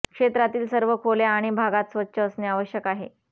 क्षेत्रातील सर्व खोल्या आणि भागात स्वच्छ असणे आवश्यक आहे